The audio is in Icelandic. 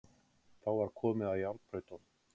Þá var komið að járnbrautunum.